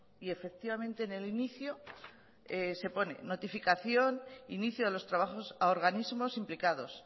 y efectivamente en el inicio se pone notificación inicio de los trabajos a organismos implicados